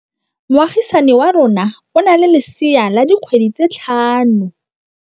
Moagisane wa rona o na le lesea la dikgwedi tse tlhano.